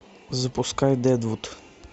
запускай дедвуд